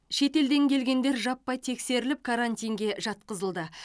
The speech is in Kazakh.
шетелден келгендер жаппай тексеріліп карантинге жатқызылды